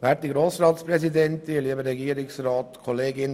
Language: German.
Auch mir liegt etwas an dieser Motion.